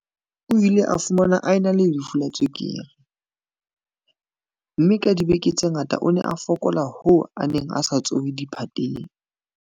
O ile a fumanwa a ena le lefu la tswekere, mme ka dibeke tse ngata o ne a fokola hoo a neng a sa tsohe diphateng.